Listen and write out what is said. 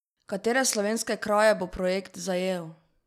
Katere slovenske kraje bo projekt zajel?